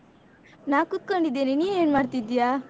ನಾ ಕುತ್ಕೊಂಡಿದ್ದೇನೆ, ನೀ ಏನ್ಮಾಡ್ತಿದ್ಯಾ?